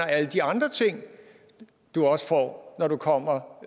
alle de andre ting man også får når man kommer